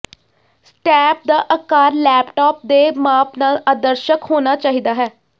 step ਦਾ ਆਕਾਰ laptop ਦੇ ਮਾਪ ਨਾਲ ਆਦਰਸ਼ਕ ਹੋਣਾ ਚਾਹੀਦਾ ਹੈ